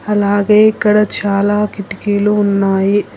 అలాగే ఇక్కడ చాలా కిటికీలు ఉన్నాయి.